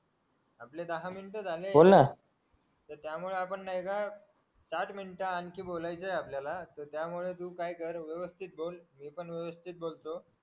आपले दहा मिनिट झाले त्यामुळे आपण आहे ना दहाच मिनिट आणखी बोलायचंय आपल्याला त्यामुळे तू काय कर व्यवस्थित बोल मी पण व्यवस्थित बोलतो